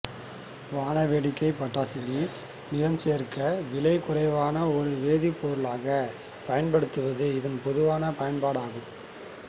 வானவேடிக்கை பட்டாசுகளில் நிறம் சேர்க்க விலை குறைவான ஒரு வேதிப்பொருளாக பயன்படுவது இதன் பொதுவான பயன்பாடு ஆகும்